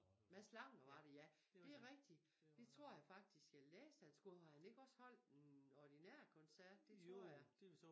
Mads Langer var det ja det rigtig det tror jeg faktisk jeg læste han skulle har han ikke også holdt en ordinær koncert det tror jeg